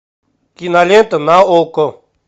кинолента на окко